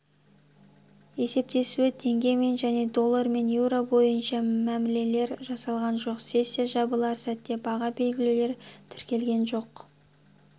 есептесуі теңгемен және долларымен еуро бойынша мәмілелер жасалған жоқ сессия жабылар сәтте баға белгілеулер тіркелген жоқ